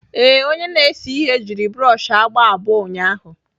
Ee, onye na-ese ihe jiri broọshị agba abụọ ụnyahụ